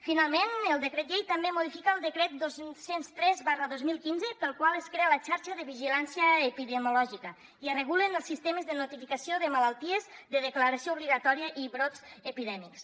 finalment el decret llei també modifica el decret dos cents i tres dos mil quinze pel qual es crea la xarxa de vigilància epidemiològica i es regulen els sistemes de notificació de malalties de declaració obligatòria i brots epidèmics